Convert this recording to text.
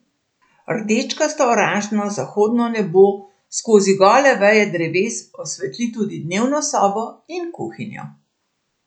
Rdečkasto oranžno zahodno nebo skozi gole veje dreves osvetli tudi dnevno sobo in kuhinjo.